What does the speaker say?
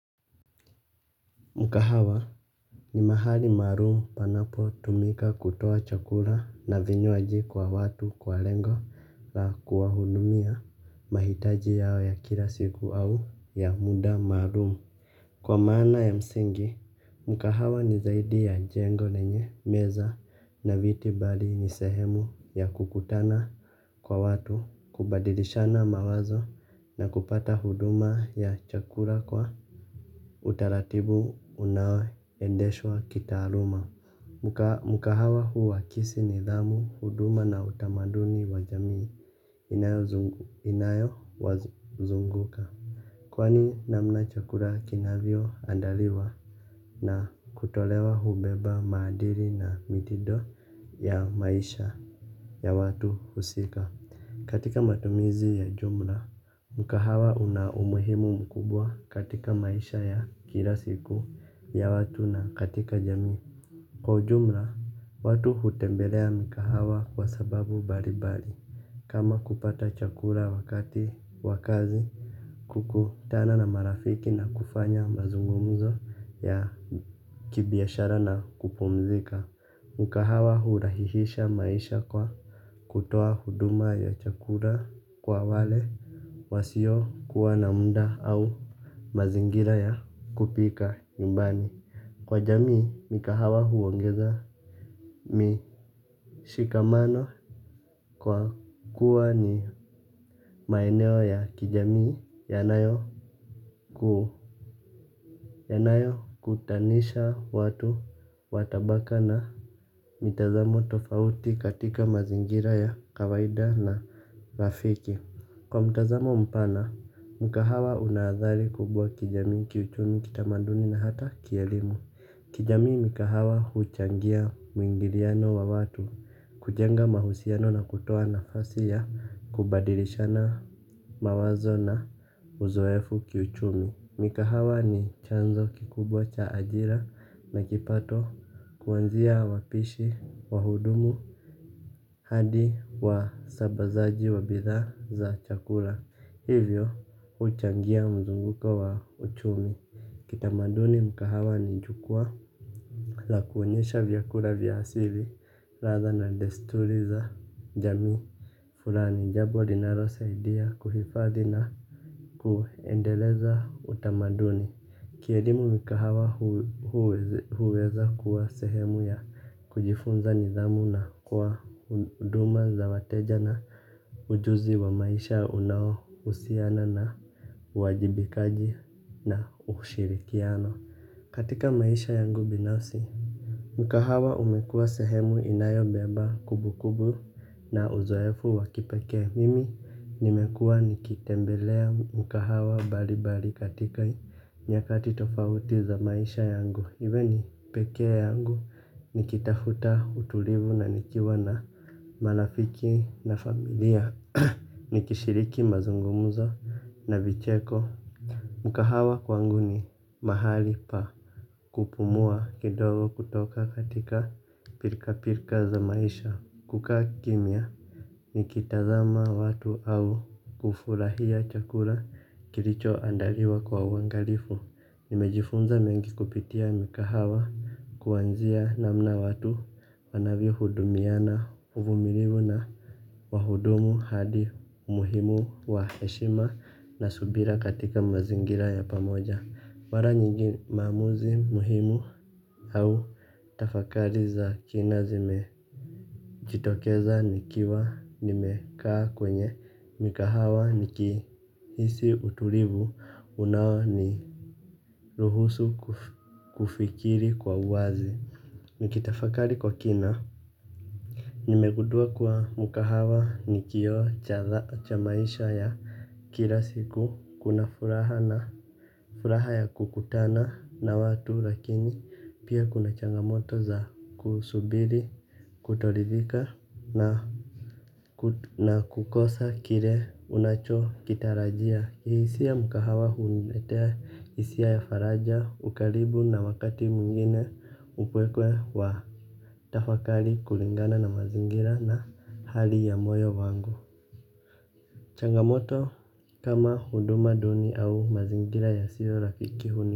Mkahawa ni mahali maalumu panapo tumika kutoa chakula na vinywaji kwa watu kwa lengo la kuwa hudumia mahitaji yao ya kila siku au ya muda maalumu. Kwa maana ya msingi, mkahawa ni zaidi ya jengo lenye meza na viti bali ni sehemu ya kukutana kwa watu, kubadilishana mawazo na kupata huduma ya chakula kwa utaratibu unao endeshwa kitaaluma. Mkahawa huakisi nidhamu huduma na utamaduni wa jamii inayo wazunguka. Kwani namna chakula kinavyo andaliwa na kutolewa hubeba maadili na mitindo ya maisha ya watu husika. Katika matumizi ya jumla, mkahawa una umuhimu mkubwa katika maisha ya kila siku ya watu na katika jamii. Kwa ujumla, watu hutembelea mikahawa kwa sababu mbalimbali. Kama kupata chakula wakati wakazi kukutana na marafiki na kufanya mazungumzo ya kibiashara na kupumzika. Mkahawa hurahisisha maisha kwa kutoa huduma ya chakula kwa wale wasio kuwa na muda au mazingira ya kupika nyumbani. Kwa jamii mkahawa huongeza Mishikamano. Kwa kuwa ni maeneo ya kijamii yanayo yanayo kutanisha watu watabaka na mitazamo tofauti katika mazingira ya kawaida na rafiki. Kwa mtazamo mpana, mkahawa unaadhari kubwa kijamii kiuchumi kitamaduni na hata kielimu. Kijamii mikahawa huchangia mwingiliano wa watu, kujenga mahusiano na kutoa nafasi ya, kubadilishana mawazo na uzoefu kiuchumi. Mikahawa ni chanzo kikubwa cha ajira na kipato kuanzia wapishi wa hudumu hadi wa sambazaji wa bidhaa za chakula. Hivyo huchangia mzunguko wa uchumi kitamaduni mkahawa ni jukwaa la kuonyesha vyakula vya asili ladha na desturi za jamii fulani jambo linalo saidia kuhifadhi na kuendeleza utamaduni. Kielimu mikahawa huweza kuwa sehemu ya kujifunza nidhamu na kwa huduma za wateja na ujuzi wa maisha unao husiana na uwajibikaji na ushirikiano. Katika maisha yangu binafsi. Mkahawa umekua sehemu inayo beba kumbu kumbu na uzoefu wakipekee mimi nimekuwa nikitembelea mikahawa mbalimbali katika nyakati tofauti za maisha yangu iwe ni pekee yangu nikitafuta utulivu na nikiwa na marafiki na familia nikishiriki mazungumzo na vicheko Mkahawa kwangu ni mahali pa kupumua kidogo kutoka katika pilka pilka za maisha kukaa kimya. Nikitazama watu au kufurahia chakula kilicho andaliwa kwa uangalifu. Nimejifunza mengi kupitia mikahawa. Kuanzia namna watu wanavyo hudumiana uvumilivu na wahudumu hadi muhimu wa heshima na subira katika mazingira ya pamoja mara nyingi maamuzi muhimu au tafakari za kina zimejitokeza nikiwa nimekaa kwenye mikahawa niki hisi utulivu unao ni ruhusu kufikiri kwa wazi. Nikitafakari kwa kina. Nimegundua kuwa mkahawa ni kioo cha maisha ya kila siku. Kuna furaha na furaha ya kukutana na watu lakini pia kuna changamoto za kusubiri, kutoridhika na kukosa kile unacho kitarajia. Kihisia mkahawa huniletea hisia ya faraja, ukaribu na wakati mwingine upeke wa tafakari kulingana na mazingira na hali ya moyo wangu. Changamoto kama huduma duni au mazingira ya sio rakiki huni.